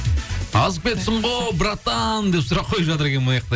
азып кетіпсің ғой братан деп сұрақ қойып жатыр екен мынаяқта